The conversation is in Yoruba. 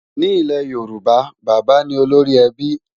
Ní ilé Yorùbá, bábà ní olórí ẹbí